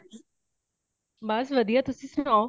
ਬੱਸ ਵਧੀਆਂ , ਤੁਸੀ ਸੁਣਾਓ |